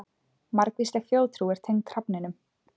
Margvísleg þjóðtrú er tengd hrafninum.